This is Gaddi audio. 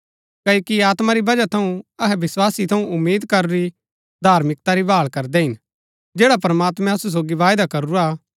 क्ओकि आत्मा री वजह थऊँ अहै विस्‍वासा थऊँ उम्मीद करूरी धार्मिकता री भाळ करदै हिन जैड़ा प्रमात्मैं असु सोगी वायदा करूरा हा